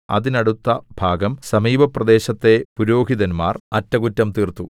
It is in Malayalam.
അതിനടുത്ത ഭാഗം സമീപപ്രദേശത്തെ പുരോഹിതന്മാർ അറ്റകുറ്റം തീർത്തു